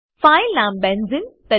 file નામ બેન્ઝેને